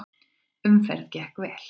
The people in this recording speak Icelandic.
Umferð gekk vel.